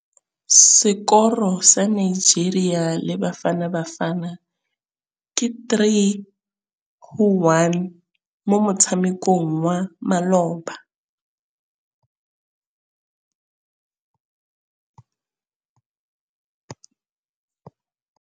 Sekôrô sa Nigeria le Bafanabafana ke 3-1 mo motshamekong wa malôba.